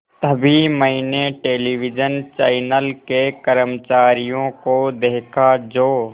तभी मैंने television channel के कर्मचारियों को देखा जो